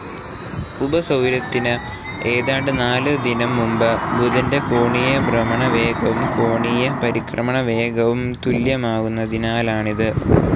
ഉപസൗരത്തിന്‌ ഏതാണ്ട് നാല്‌ ദിനം മുമ്പ് ബുധന്റെ കോണീയ ഭ്രമണവേഗവും കോണീയ പരിക്രമണവേഗവും തുല്യമാകുന്നതിനാലാണിത്.